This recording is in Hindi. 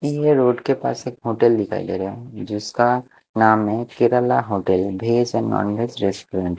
ये रोड के पास एक होटल दिखाई दे रहा है जिसका नाम है Kerala hotel veg and non veg restaurant --